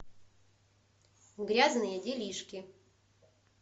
грязные делишки